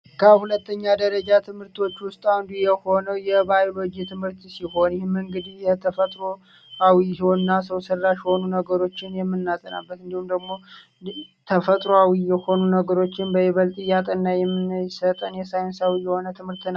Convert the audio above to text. ከሁለተኛ ደረጃ ትምህርቶች ውስጥ አንዱ የሆነው የባዮሎጂ ትምህርት ሲሆን፤ ይህም እንግዲህ የተፈጥሯዊ እና ሰው ሰራሽ የሆኑ ነገሮችን የምናጠናበት እንዲሁም ደግሞ፤ ተፈጥሯዊ ነገሮችን በይበልጥ እያጠና የሚሰጠን የ ሳይንሳዊ የሆነ ትምህርት ነው።